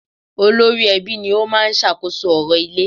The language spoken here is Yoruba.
Olórí ẹbí ni ó máa ń sàkóso orò ilé